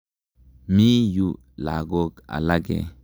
Mi yu lagok alake.